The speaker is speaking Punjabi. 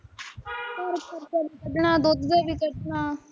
ਘਰ ਖਰਚਾ ਕੱਢਣਾ, ਦੁੱਧ ਦਾ ਵੀ ਕੱਢਣਾ,